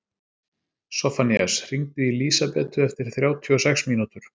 Soffanías, hringdu í Lísabetu eftir þrjátíu og sex mínútur.